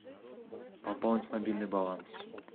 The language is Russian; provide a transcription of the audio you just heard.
пополнить мобильный баланс